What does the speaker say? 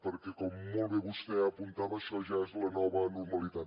perquè com molt bé vostè apuntava això ja és la nova normalitat